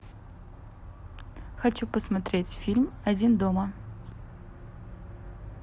хочу посмотреть фильм один дома